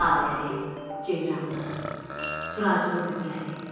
Laləli, ceyranlı, turaclı düzləri.